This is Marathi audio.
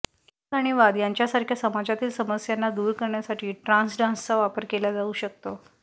राग आणि वाद यांच्यासारख्या समाजातील समस्यांना दूर करण्यासाठी ट्रान्स डान्सचा वापर केला जाऊ शकतो